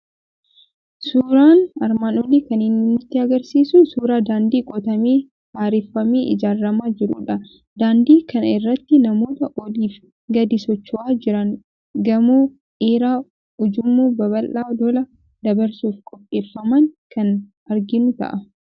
Suuraan armaan olii kan inni nutti argisiisu suuraa daandii qotamee haareffamee ijaaramaa jirudha. Daandii kana irratti namoota oliif gadi socho'aa jiran, gamoo dheeraa, ujummoo babal'aa lolaa dabarsuuf qopheeffaman kan arginu ta'a.